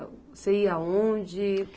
Você ia aonde?